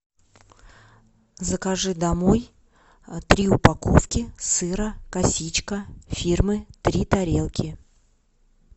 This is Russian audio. закажи домой три упаковки сыра косичка фирмы три тарелки